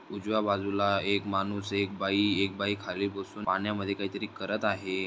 उजव्या बाजूला एक मानुस एक बाई एक बाई खाली बसून पाण्यामधे काही तरी करत आहे.